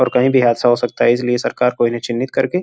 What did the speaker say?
और कहीं भी हादसा हो सकता है इसलिए सरकार को इन्हें चिह्नित करके --